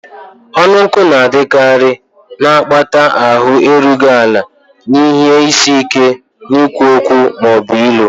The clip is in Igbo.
Ọnụ nkụ na-adịkarị, na-akpata ahụ erughị ala na ihe isi ike n'ikwu okwu ma ọ bụ ilo.